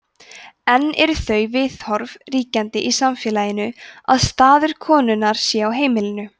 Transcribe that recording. enn eru þau viðhorf ríkjandi í samfélaginu að staður konunnar sé á heimilinu